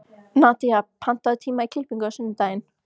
Nadía, pantaðu tíma í klippingu á sunnudaginn.